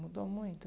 Mudou muito?